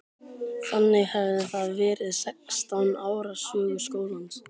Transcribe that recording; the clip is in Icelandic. Þannig hefði það verið sextán ára sögu skólans.